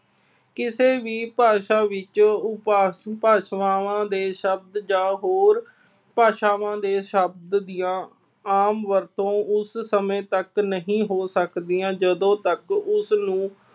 ਕਿਸੇ ਵੀ ਭਾਸ਼ਾ ਵਿੱਚ ਉਪਵਾਕ ਭਾਸ਼ਾਵਾਂ ਦੇ ਸ਼ਬਦ ਜਾਂ ਹੋਰ ਭਾਸ਼ਾਵਾਂ ਦੇ ਸ਼ਬਦ ਦੀਆਂ ਆਮ ਵਰਤੋਂ ਉਸ ਸਮੇਂ ਤੱਕ ਨਹੀਂ ਹੋ ਸਕਦੀਆ ਜਦੋਂ ਤੱਕ ਉਸਨੂੰ